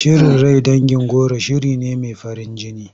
Shirin rai dangin goro shiri ne mai farin jini.